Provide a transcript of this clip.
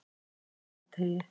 Mosateigi